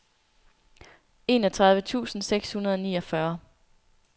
enogtredive tusind seks hundrede og niogfyrre